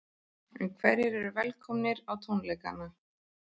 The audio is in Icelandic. En hverjir eru velkomnir á tónleikana?